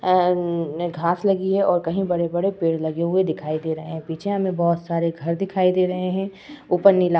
अन्न् घास लगी है और कहीं बड़े बड़े पेड़ लगे हुए दिखाई दे रहे हैं। पीछे हमें बोहोत सारे घर दिखाई दे रहे हैं। ऊपर नीला --